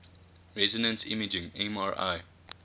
resonance imaging mri